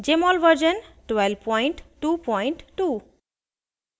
* jmol version 1222